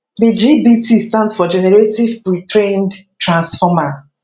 di gpt stand for generative pretrained transformer